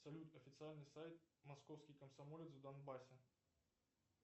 салют официальный сайт московский комсомолец в донбассе